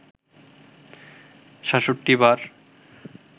৬৭ বার